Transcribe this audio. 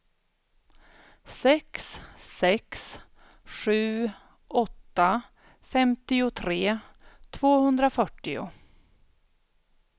sex sex sju åtta femtiotre tvåhundrafyrtio